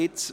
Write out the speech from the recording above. Gut